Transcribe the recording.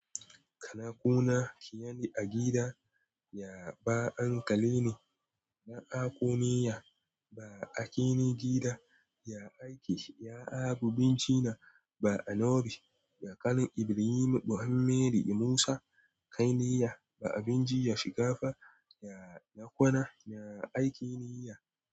Kanako na shi ya ne a gida, ya ba ankal le ne, na akoniya ba a kini gida, ya aiki ya abu bincina ba a novi, ya kan Ibrahim, Muhammadu Musa, kan niya ba abinci ya shiga fa, ya nakona, ya aiki niyya.